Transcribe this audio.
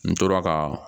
N tora ka